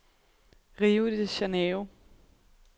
Rio de Janeiro